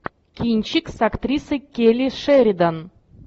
кинчик с актрисой келли шеридан